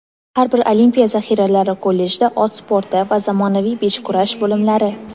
har bir olimpiya zaxiralari kollejida ot sporti va zamonaviy beshkurash bo‘limlari;.